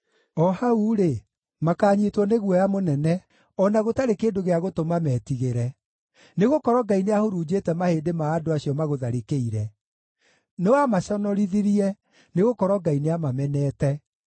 O hau-rĩ, makanyiitwo nĩ guoya mũnene, o na gũtarĩ kĩndũ gĩa gũtũma metigĩre. Nĩgũkorwo Ngai nĩahurunjĩte mahĩndĩ ma andũ acio magũtharĩkĩire; nĩwamaconorithirie, nĩgũkorwo Ngai nĩamamenete.